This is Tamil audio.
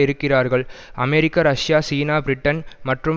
இருக்கிறார்கள் அமெரிக்கா ரஷ்யா சீனா பிரிட்டன் மற்றும்